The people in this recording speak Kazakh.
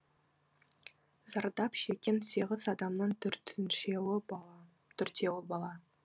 зардап шеккен сегіз адамның төртеуі бала